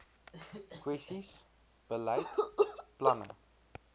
kwessies beleid planne